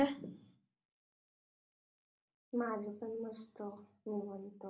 माझा पण मस्त निवांत